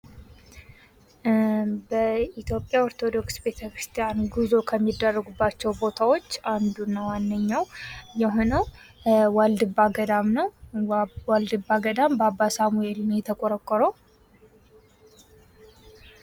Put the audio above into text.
በኢትዮጵያ ኦርቶዶክስ ቤተክርስቲያን ጉዞ ከሚደረግባቸው ቦታዎች አንዱ እና ዋነኛው የሆነው ዋልድባ ገዳም ነው ። ዋልድባ ገዳም በአባ ሳሙኤል ነው የተቆረቆረው ።